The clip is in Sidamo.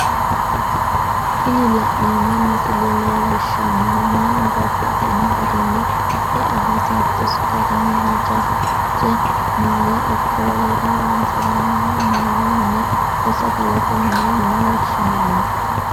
Tini la'neemo misile leellishanohu mannu babaxxino garinni e'e hasatosi garini haja'che maala ikko wolere horonsiranohha maalu mine woyi sagalete mine yine woshinanni